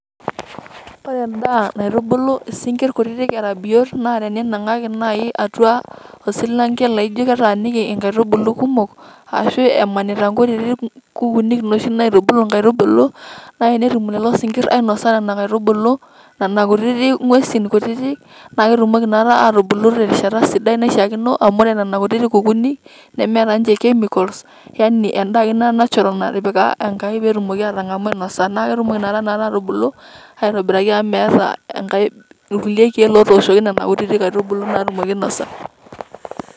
Ore endaa naitubulu isinkirr kutitik era biot na teninang'aki nai atua osilanke laijo ketaaniki nkaitubulu kumok, ashu emanita nkoreren kuunik noshi naitubulu nkaitubulu, na enetum lelo sinkirr ainasa nena aitubulu, nena kutitik ng'uesin kutitik, na ketumoki na atubulu terishata sidai naishaakino, amu ore nena kutitik kukuuni nemeeta nche chemicals ,yani endaa ake ina natural natipika Enkai petumoki atang'amu ainosa. Na ketumoki na tanakata atubulu, aitobiraki amu meeta enkae ilkulie keek otooshoki nena kutitik aitubulu natumoki ainosa.